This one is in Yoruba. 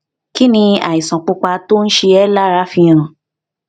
kí ni àìsàn pupa tó ń ṣe é lára fi hàn